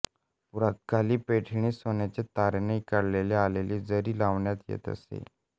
पुरातनकाली पैठणीस सोन्याच्या तारेने काढण्यात आलेली जरी लावण्यात येत असे